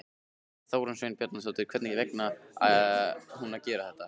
Þórunn Sveinbjarnardóttir: Hvers vegna ætti hún að gera það?